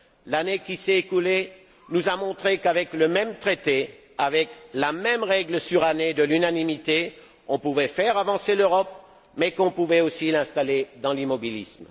L'année qui s'est écoulée nous a montré qu'avec le même traité, avec la même règle surannée de l'unanimité, on pouvait faire avancer l'Europe mais qu'on pouvait aussi l'installer dans l'immobilisme.